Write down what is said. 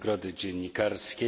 nagrody dziennikarskiej.